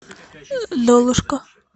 золушка